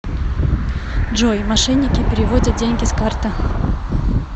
джой мошенники переводят деньги с карты